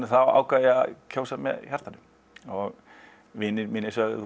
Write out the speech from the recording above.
þá ákvað ég að kjósa með hjartanu og vinir mínir sögðu